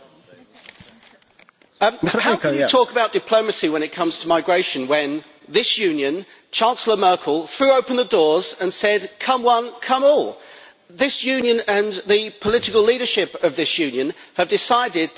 How can you talk about diplomacy when it comes to migration when this Union, Chancellor Merkel, threw open the doors and said come one, come all? This Union, and the political leadership of this Union, have decided that there is going to be a free for all.